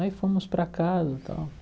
Aí fomos para casa e tal.